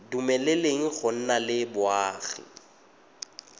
dumeleleng go nna le boagi